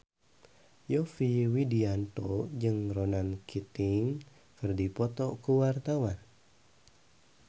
Yovie Widianto jeung Ronan Keating keur dipoto ku wartawan